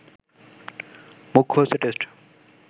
মুখ্য হচ্ছে টেস্ট